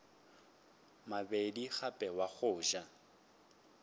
mabedi gape wa go ja